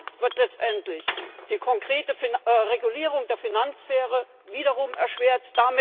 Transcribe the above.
Und damit wird letztendlich die konkrete Regulierung der Finanzsphäre wiederum erschwert.